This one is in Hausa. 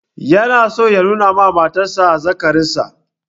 Yana so ya nuna wa matar sa azzakarinsa